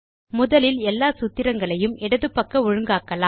முதலில் எல்லா சூத்திரங்களையும் இடது பக்க ஒழுங்காக்கலாம்